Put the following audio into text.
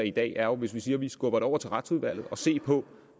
i dag jo er hvis vi siger at vi skubber det over til retsudvalget at se på